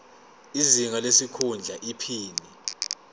izinga lesikhundla iphini